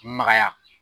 Magaya